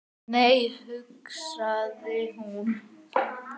Nei, hugsaði hún.